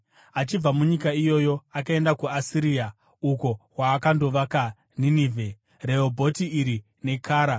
Achibva munyika iyoyo akaenda kuAsiria, uko kwaakandovaka Ninevhe, Rehobhoti Iri, neKara